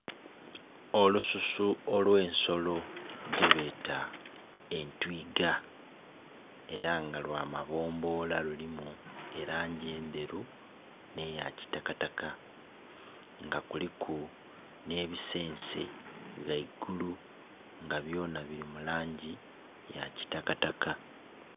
Olususu olwensolo gye beta entwiga era nga lwa mabbombola lulimu elangi endheru nhe ya kitakataka nga kuliku nhe bisense ghaigulu nga byona bili mu langi eya kitakataka.